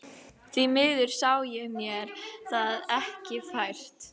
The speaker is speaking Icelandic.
Því miður sá ég mér það ekki fært.